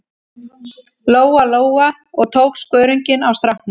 Lóa-Lóa og tók skörunginn af stráknum.